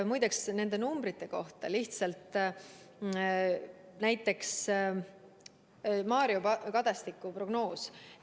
Muide, mis puutub nendesse numbritesse, siis näiteks Mario Kadastik on teinud prognoosi.